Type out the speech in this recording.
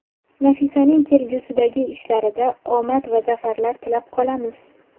Nafisaning kelgusidagi ishlarida omad va zafarlar tilab qolamiz!